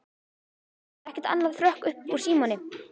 Það er ekkert annað hrökk upp úr Símoni.